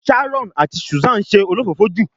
Sharon ati Susan se olofofo ju